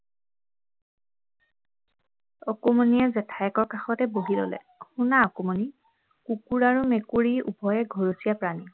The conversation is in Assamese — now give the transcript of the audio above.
অকমানিয়ে জেঠায়েকৰ কাষতে বহি ললে শুনা অকমানি কুকুৰ আৰু মেকুৰী উভয়ে ঘৰচীয়া প্ৰাণী